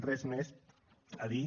res més a dir